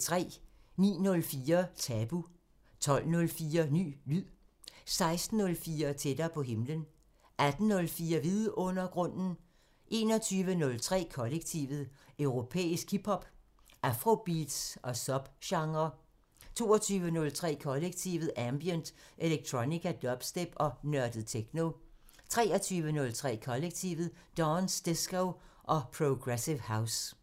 09:04: Tabu 12:04: Ny lyd 16:04: Tættere på himlen 18:04: Vidundergrunden 21:03: Kollektivet: Europæisk hip hop, afrobeats og subgenrer 22:03: Kollektivet: Ambient, electronica, dubstep og nørdet techno 23:03: Kollektivet: Dance, disco og progressive house